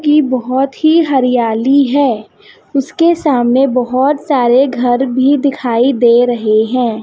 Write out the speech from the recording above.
की बहोत ही हरियाली है उसके सामने बहोत सारे घर भी दिखाई दे रहे हैं।